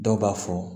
Dɔw b'a fɔ